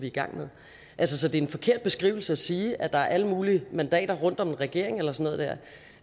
i gang med så det er en forkert beskrivelse at sige at der er alle mulige mandater rundt om regeringen eller sådan